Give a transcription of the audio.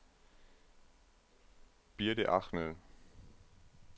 Birthe Ahmed